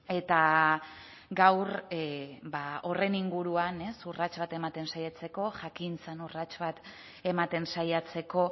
eta gaur horren inguruan urrats bat ematen saiatzeko jakintzan urrats bat ematen saiatzeko